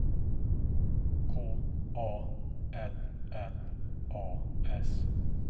K A L L A S